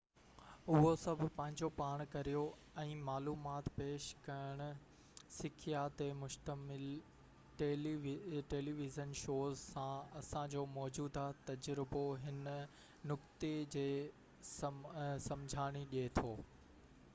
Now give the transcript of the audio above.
اهو سڀ پنهنجو پاڻ ڪريو ۽ معلومات پيش ڪرڻ سکيا تي مشتمل ٽيلي ويزن شوز سان اسان جو موجوده تجربو هن نقطي جي سمجهاڻي ڏي ٿو